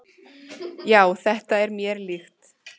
"""Já, þetta er mér líkt."""